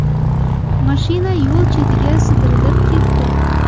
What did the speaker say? Mashina yo‘l chetiga sidirilib ketdi.